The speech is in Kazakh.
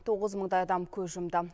тоғыз мыңдай адам көз жұмды